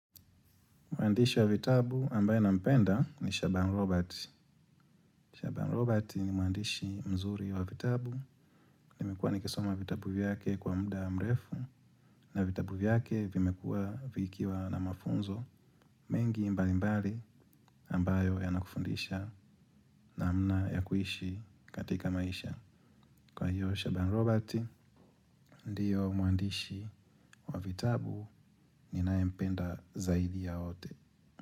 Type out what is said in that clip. Mwandishi wa vitabu ambaye nampenda ni Shaban Roberts. Shabanu Robert ni muandishi mzuri wa vitabu. Nimekuwa nikisoma vitabu vyake kwa muda mrefu na vitabu vyake vimekuwa vikiwa na mafunzo mengi mbalimbali ambayo yanakufundisha namna ya kuishi katika maisha. Kwa hiyo Shaban Robert ndiyo mwandishi wa vitabu ninayempenda zaidi ya wote.